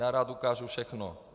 Já rád ukážu všechno.